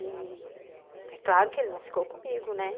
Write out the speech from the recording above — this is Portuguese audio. E é claro que ele não ficou comigo, né?